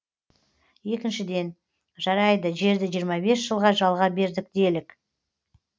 екіншіден жарайды жерді жиырма бес жылға жалға бердік делік